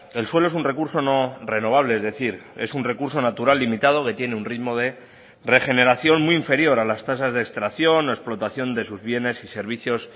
el suelo es un recurso no renovable es decir es un recurso natural limitado que tiene un ritmo de regeneración muy inferior a las tasas de extracción o explotación de sus bienes y servicios